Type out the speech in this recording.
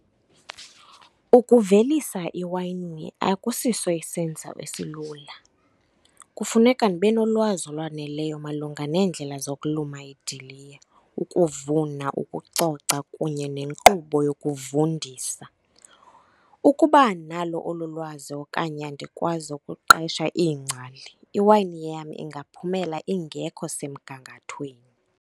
Ukuvelisa iwayini akusiso isenza esilula. Kufuneka ndibe nolwazi olwaneleyo malunga neendlela zokulima idiliya, ukuvuna ukucoca kunye nenkqubo yokuvundisa. Ukuba andinalo olo lwazi okanye andikwazi ukuqesha iingcali iwayini yam ingaphumela ingekho semgangathweni.